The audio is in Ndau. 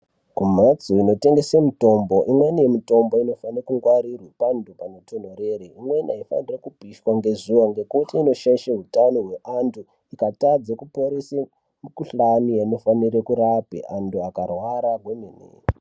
Kumhatso inotengesa mutombo ,imweni mitombo inofanirwa kungwarirwa panthu panotonthorere ,imweni aifaniri kupishwa ngezuwa ngekuti inoshaisha utano hwevanthu ukatadza kuporesa mikhuhlane inofanire kurape anhu akarwara kwemene.